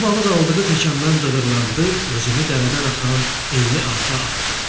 Balaca balıq aldığı təkandan dığırladı, özünü dərədən axan enli arxa atdı.